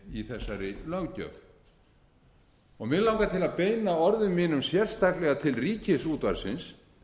þessari löggjöf mig langar að beina orðum mínum sérstaklega til ríkisútvarpsins